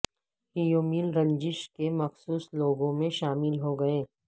have Milne Rajneesh کے مخصوص لوگوں میں شامل ہو گئے